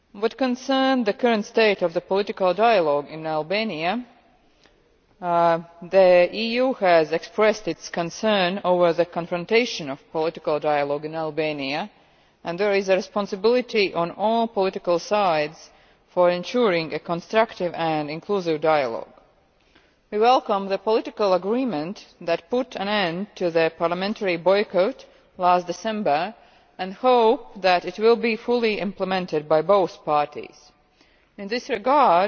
As regards the current state of the political dialogue in Albania, the EU has expressed its concern over the confrontational nature of political dialogue in Albania and there is a responsibility on all political sides to ensure a constructive and inclusive dialogue. We welcome the political agreement that put an end to the parliamentary boycott last December and hope that it will be fully implemented by both parties. In this regard,